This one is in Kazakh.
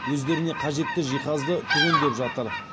өздеріне қажетті жиһазды түгендеп жатыр